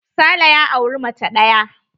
Sale ya auri mace ɗaya.